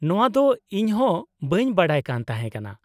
-ᱱᱚᱶᱟ ᱫᱚ ᱤᱧ ᱦᱚᱸ ᱵᱟᱹᱧ ᱵᱟᱰᱟᱭ ᱠᱟᱱ ᱛᱟᱦᱮᱸ ᱠᱟᱱᱟ ᱾